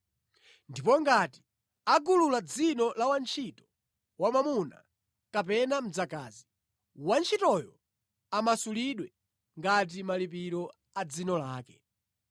Ndipo ngati agulula dzino la wantchito wamwamuna kapena mdzakazi, wantchitoyo amasulidwe ngati malipiro a dzino lake.